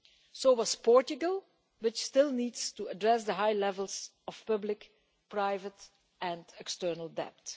So was Portugal, which still needs to address the high levels of public, private and external debt.